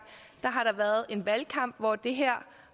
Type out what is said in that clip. har været en valgkamp hvor det her